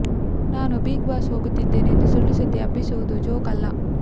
ನಾನು big boss ಹೋಗುತ್ತಿದ್ದೇನೆ ಎಂದು ಸುಳ್ಳು ಸುದ್ದಿ ಹಬ್ಬಿಸುವುದು ಜೋಕ್ ಅಲ್ಲ